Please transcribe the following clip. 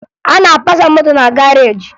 A na-apasa moto na garaajị